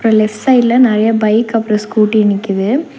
அ left சைடுல நறையா bike அப்றோ ஸ்கூட்டி நிக்கிது.